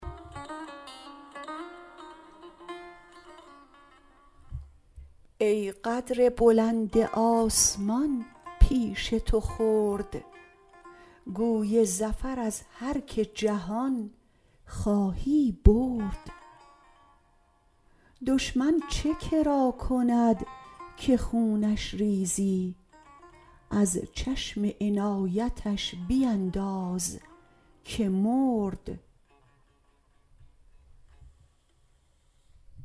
ای قدر بلند آسمان پیش تو خرد گوی ظفر از هر که جهان خواهی برد دشمن چه کری کند که خونش ریزی از چشم عنایتش بینداز که مرد